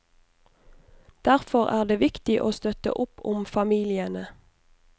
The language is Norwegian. Derfor er det viktig å støtte opp om familiene.